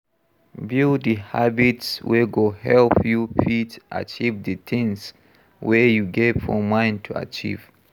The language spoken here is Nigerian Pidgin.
Build di habits wey go help you fit achieve di thing wey you get for mind to achieve